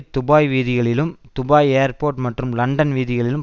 Dubai வீதிகளிலும் Dubai airport மற்றும் London வீதிகளிலும்